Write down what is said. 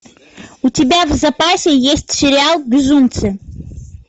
у тебя в запасе есть сериал безумцы